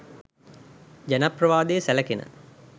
ජනප්‍රවාදයේ සැලකෙන